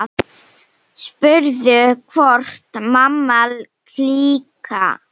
Spurður hvort Mamma klikk!